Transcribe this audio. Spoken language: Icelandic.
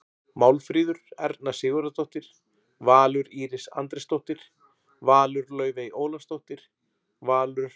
Málfríður Erna Sigurðardóttir- Valur Íris Andrésdóttir- Valur Laufey Ólafsdóttir- Valur